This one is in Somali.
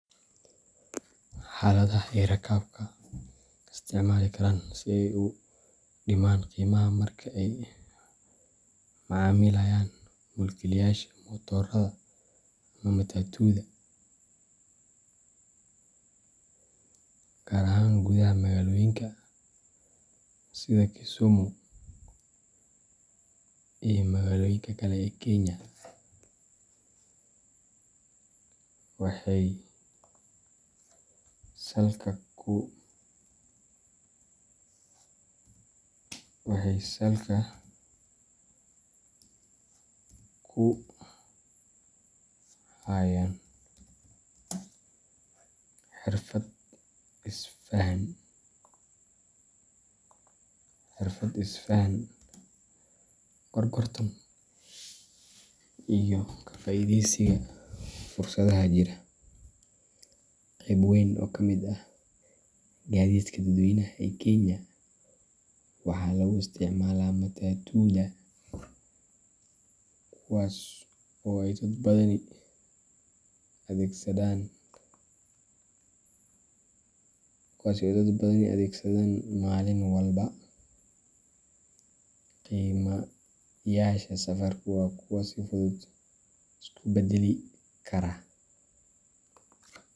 Heladaha ay rakaabka isticmaali karaan si ay u dhimaan qiimaha marka ay la macaamilayaan mulkiilayaasha matoorada ama matatuda, gaar ahaan gudaha magaalooyinka sida Kisumu iyo magaalooyinka kale ee Kenya, waxay salka ku hayaan xirfad is fahan, gorgortan, iyo ka faa'iidaysiga fursadaha jira. Qayb weyn oo ka mid ah gaadiidka dadweynaha ee Kenya waxaa lagu isticmaalaa matatuda, kuwaasoo ay dad badani adeegsadaan maalin walba. Qiimayaasha safarku waa kuwo si fudud isu beddeli kara.